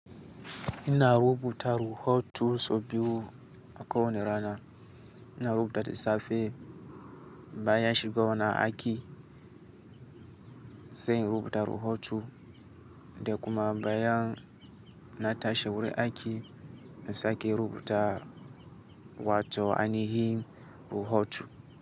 Ina rubuta ruhotu so biyu aka wane rana ina rubuta da safe baya shigowa na aiki sai rubuta ruhotu da kuma bayan na tashe wuri aiki na sake rubuta wato ainihi ruhotu.